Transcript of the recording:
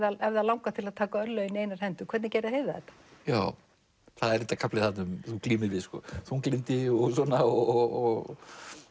ef það langar til að taka örlögin í eigin hendur hvernig gerði Heiða þetta það kafli þarna þú glímir við þunglyndi og svona og